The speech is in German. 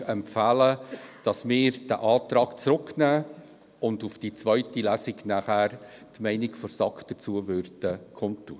Wir empfehlen Ihnen, dass wir diesen Antrag zurück in die Kommission nehmen und auf die zweite Lesung hin die Meinung der SAK kundtun.